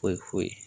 Foyi foyi